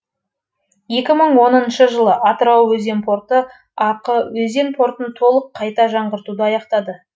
екі мың оныншы жылы атырау өзен порты ақ өзен портын толық қайта жаңартуды аяқтады